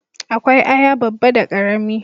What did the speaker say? Akwai aya babba da karami